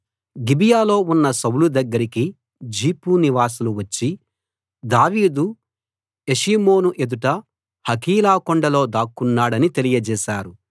గిబియాలో ఉన్న సౌలు దగ్గరికి జీఫు నివాసులు వచ్చి దావీదు యెషీమోను ఎదుట హకీలా కొండలో దాక్కున్నాడని తెలియజేశారు